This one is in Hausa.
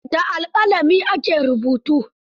Da alƙalami ake rubutu